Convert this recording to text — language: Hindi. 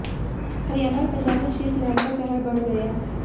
हरियाणा और पंजाब में शीत लहर का कहर बढ़ गया